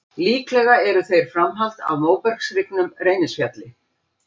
Líklega eru þeir framhald af móbergshryggnum Reynisfjalli.